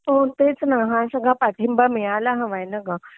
हो तेच ना हा सगळा पाठिंबा मिळायला हवाय ना ग